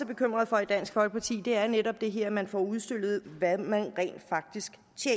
bekymrede for i dansk folkeparti er netop det her at man får udstillet hvad man rent faktisk